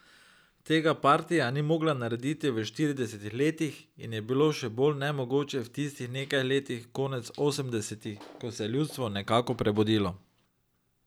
Tega partija ni mogla narediti v štiridesetih letih in je bilo še bolj nemogoče v tistih nekaj letih konec osemdesetih, ko se je ljudstvo nekako prebudilo.